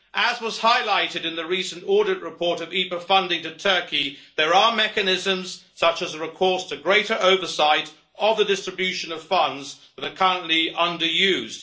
As was highlighted in the recent audit report of IPA funding to Turkey, there are mechanisms, such as the recourse to greater oversight of the distribution of funds, that are currently under used.